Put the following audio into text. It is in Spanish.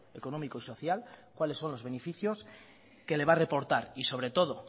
económico y social cuáles son los beneficios que le va a reportar y sobre todo